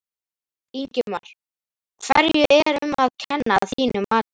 Ingimar: Hverju er um að kenna að þínu mati?